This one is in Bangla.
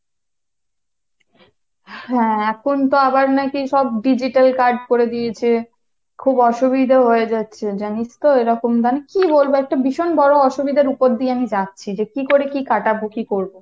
হ্যাঁ এখন তো আবার নাকি সব digital card করে দিয়েছে খুব অসুবিধাই হয়ে যাচ্ছে জানিস তো এরকম আমি কী বলবো একটা ভীষণ বড় অসুবিধার উপর দিয়ে আমি যাচ্ছি, যে কি করে কি কাটাবো কি করবো